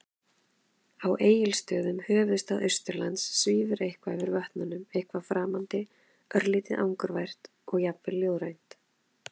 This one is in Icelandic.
Á Egilsstöðum, höfuðstað Austurlands, svífur eitthvað yfir vötnum- eitthvað framandi, örlítið angurvært og jafnvel ljóðrænt.